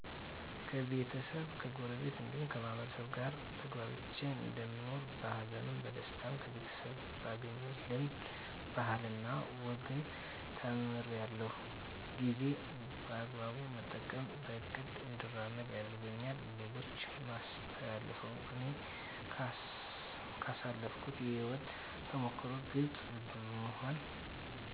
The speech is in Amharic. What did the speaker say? ከቤተሰብ ከጎረቤት እንዲሁም ከማህበረሰቡ ጋር ተግባብቼ እንደምኖር በሀዘንም በደስታ ከቤተሰብ ባገኘሁት ልምድ ባህልና ወግን ተምራለሁ ጊዜ በአግባቡ መጠቀም በእቅድ እንድመራ ያደርገኛል ለሌሎች የማስተላልፈው እኔ ካሳለፍኩት የህይወት ተሞክሮ ግልፅ በመሆን